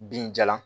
Binjalan